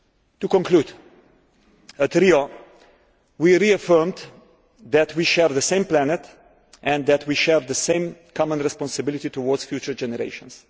To conclude, at Rio we reaffirmed that we share the same planet and that we share the same common responsibility towards future generations.